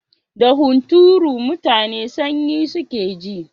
Da hunturu mutane sanyi suke ji.